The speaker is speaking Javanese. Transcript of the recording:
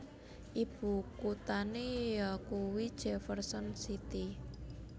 Ibukuthané yakuwi Jefferson City